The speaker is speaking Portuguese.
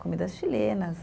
Comidas chilenas.